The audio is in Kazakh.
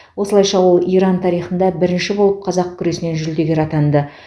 осылайша ол иран тарихында бірінші болып қазақ күресінен жүлдегер атанды